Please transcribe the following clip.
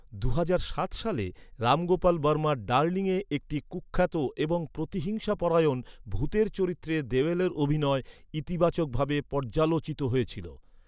দুহাজার সাত সালে, রাম গোপাল বর্মার ডার্লিয়ে একটি কুখ্যাত এবং প্রতিহিংসাপরায়ণ ভূতের চরিত্রে দেওলের অভিনয় ইতিবাচকভাবে পর্যালোচিত হয়েছিল।